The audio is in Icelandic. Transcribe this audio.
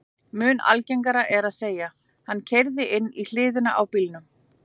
Mun algengara er að segja: Hann keyrði inn í hliðina á bílnum